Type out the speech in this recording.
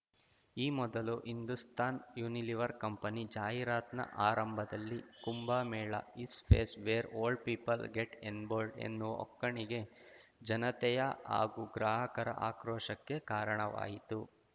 ಈ ಮೊದಲು Hindustan Unilever company ಜಾಹೀರಾತಿನ ಆರಂಭದಲ್ಲಿ Kumbh Mela is place where old people get ಎಂಬೋಲ್ಡ್ ಎನ್ನುವ ಒಕ್ಕಣಿಕೆ ಜನತೆಯ ಹಾಗೂ ಗ್ರಾಹಕರ ಆಕ್ರೋಶಕ್ಕೆ ಕಾರಣವಾಯಿತು